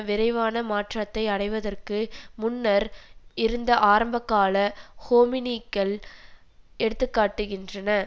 விரைவான மாற்றத்தை அடைவதற்கு முன்னர் இருந்த ஆரம்பகால ஹோமினிகள் எடுத்து காட்டுகின்றன